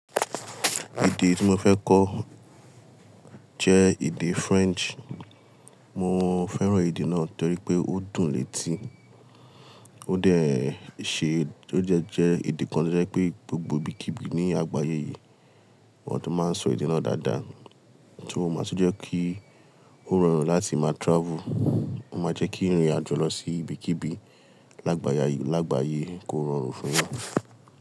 Èdè tí mo fẹ́ kọ jẹ́ èdè French. Mo fẹ́ràn èdè náà torí pé ó dùn létí, ó dẹ̀ ṣé, tó dẹ́ jẹ idi kan tí ó jẹ́ pé gbogbo ibikíbi ní àgbáyé yìí wọ́n tó máa n sọ èdè náà dáadáa, tí ó máa tún jẹ́ kí ó rọrùn láti máa travel. Ó máa jẹ́ kí ìrìn àjò lọ sí ibikíbi lágbàáyà, lágbàáyé kó rọrùn fún ẹeyan.